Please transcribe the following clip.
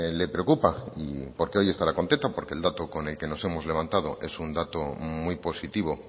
le preocupa y porque hoy estará contenta porque el dato con el que nos hemos levantado es un dato muy positivo